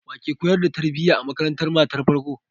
Wake koyar da tarbiya a makarantar matan farko?